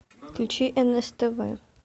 включи нств